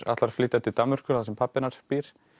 ætlar að flytja til Danmerkur þar sem pabbi hennar býr